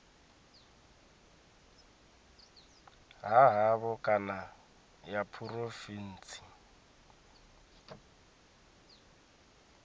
ha havho kana ya phurovintsi